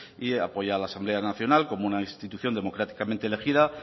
y apoya a la asamblea nacional como una institución democráticamente elegida